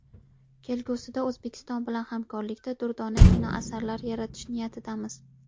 Kelgusida O‘zbekiston bilan hamkorlikda durdona kinoasarlar yaratish niyatidamiz.